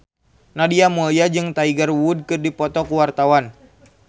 Nadia Mulya jeung Tiger Wood keur dipoto ku wartawan